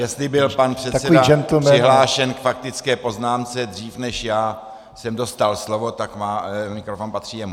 Jestliže byl pan předseda přihlášen k faktické poznámce dřív, než já jsem dostal slovo, tak mikrofon patří jemu.